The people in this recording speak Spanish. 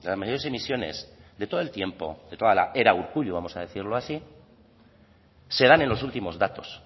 mayores emisiones de todo el tiempo de toda la era urkullu vamos a decirlo así se dan en los últimos datos